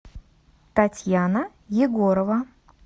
татьяна егорова